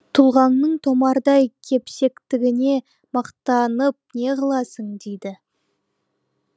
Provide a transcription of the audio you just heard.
тұлғаңның томардай кепсектігіне мақтанып неғыласың дейді